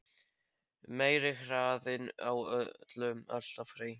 Meiri hraðinn á öllu alltaf hreint.